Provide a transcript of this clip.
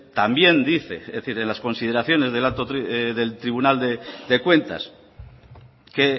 también dice es decir enlas consideraciones del tribunal de cuentas que